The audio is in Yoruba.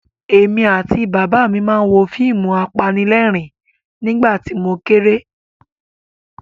Èmi àti Bàbá mi máa ń wo àwọn fíìmù apanílẹ̀rín nígbà tí mo kéré.